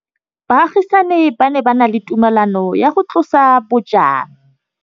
Baagisani ba ne ba na le tumalanô ya go tlosa bojang.